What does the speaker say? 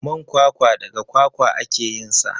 Man kwakwa daga kwakwa ake yinsa.